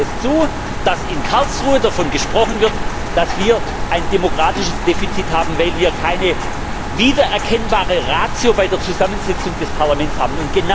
Heute lassen wir es zu, dass in Karlsruhe davon gesprochen wird, dass wir ein demokratisches Defizit haben, weil wir keine wiedererkennbare Ratio bei der Zusammensetzung des Parlaments haben.